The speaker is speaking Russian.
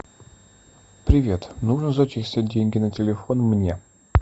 привет нужно зачислить деньги на телефон мне